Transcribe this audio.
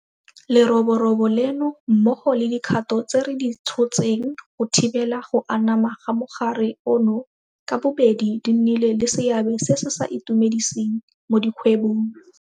Leroborobo leno mmogo le dikgato tse re di tshotseng go thibela go anama ga mogare ono ka bobedi di nnile le seabe se se sa itumediseng mo dikgwebong.